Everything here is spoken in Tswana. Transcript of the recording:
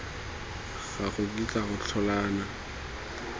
ga go kitla go tlhola